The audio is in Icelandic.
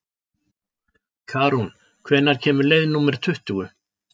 Karún, hvenær kemur leið númer tuttugu?